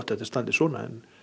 þetta standi svona en